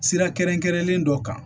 Sira kɛrɛn kɛrɛnlen dɔ kan